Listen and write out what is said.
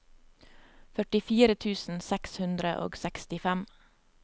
førtifire tusen seks hundre og sekstifem